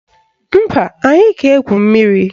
Mba, anyị ga-egwu mmiri